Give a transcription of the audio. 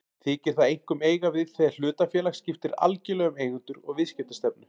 Þykir það einkum eiga við þegar hlutafélag skiptir algjörlega um eigendur og viðskiptastefnu.